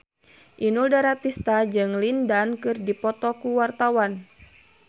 Inul Daratista jeung Lin Dan keur dipoto ku wartawan